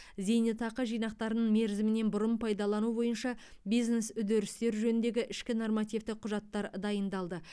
зейнетақы жинақтарын мерзімінен бұрын пайдалану бойынша бизнес үдерістер жөніндегі ішкі нормативтік құжаттар дайындалды